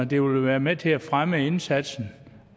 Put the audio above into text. det vil være med til at fremme indsatsen